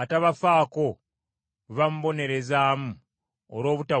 atabafaako bwe bamubonerezaamu olw’obutawulira,